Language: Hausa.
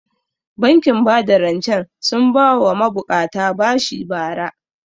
Bankin bada rancen sun ba wa ma buƙata bashi bara